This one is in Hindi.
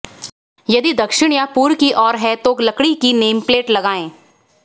यदि दक्षिण या पूर्व की ओर है तो लकड़ी की नेमप्लेट लगाएं